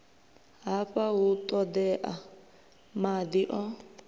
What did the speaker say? hafha hu ṱoḓea maḓi o